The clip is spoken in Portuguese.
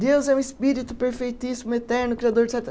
Deus é um Espírito perfeitíssimo, eterno, criador de